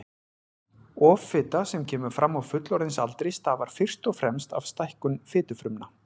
Offita sem kemur fram á fullorðinsaldri stafar fyrst og fremst af stækkun fitufrumna.